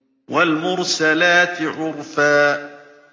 وَالْمُرْسَلَاتِ عُرْفًا